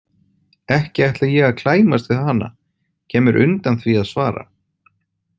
Ekki ætla ég að klæmast við hana, kem mér undan því að svara.